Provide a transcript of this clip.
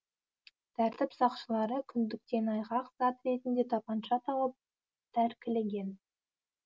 тәртіп сақшылары күндіктен айғақ зат ретінде тапанша тауып тәркілеген